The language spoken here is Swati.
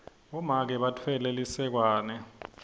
bomake batfwele lisekwane